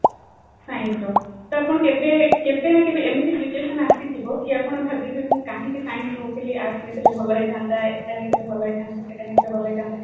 science ର ତ ଆପଣ କେବେ ନା କେବେ ଏମିତି situation ଆସିଥିବ କି ଆପଣ ଭାବିଥିବେ କି ମୁଁ କାହିଁକି science ନେଇଥିଲି arts ନେଇଥିଲେ ଭଲ ହେଇଥାନ୍ତା ଏଟା ନେଇଥିଲେ ଭଲ ହେଇଥାନ୍ତା ସେଟା ନେଇଥିଲେ ଭଲ ହେଇଥାନ୍ତା